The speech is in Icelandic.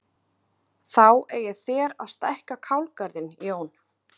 Þá eigið þér að stækka kálgarðinn Jón!